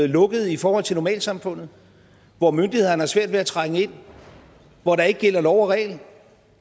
lukkede i forhold til normalsamfundet hvor myndighederne har svært ved at trænge ind hvor der ikke gælder lov og regel